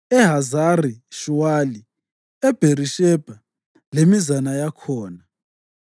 eHazari-Shuwali, eBherishebha lemizana yakhona,